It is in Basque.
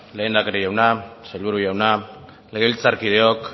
lehendakari jauna sailburu jauna legebiltzarkideok